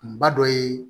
Kunba dɔ ye